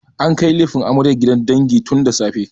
An kai lefen amaryar gidan dangi tun da safe.